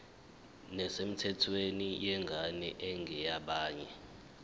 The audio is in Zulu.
nesemthethweni yengane engeyabanye